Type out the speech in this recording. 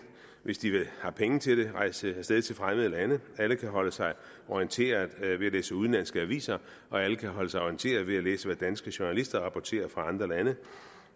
hvis de har penge til det rejse af sted til fremmede lande alle kan holde sig orienteret ved at læse udenlandske aviser og alle kan holde sig orienteret ved at læse hvad danske journalister rapporterer fra andre lande